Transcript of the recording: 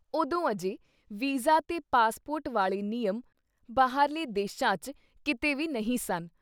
ਉਦੋਂ-ਅਜੇ visa ਤੇ passport ਵਾਲ਼ੇ ਨਿਯਮ ਬਾਹਰਲੇ ਦੇਸ਼ਾਂ ’ਚ ਕਿਤੇ ਵੀ ਨਹੀਂ ਸਨ।